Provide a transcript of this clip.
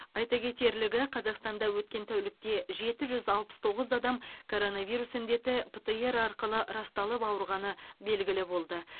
айта кетерлігі қазақстанда өткен тәулікте жеті жүз алпыс тоғыз адам коронавирус індеті птр арқылы расталып ауырғаны белгілі болды